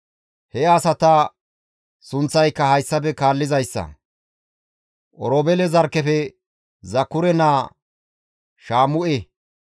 He asata sunththayka hayssafe kaallizayssa; Oroobeele zarkkefe Zakure naa Shaamu7e,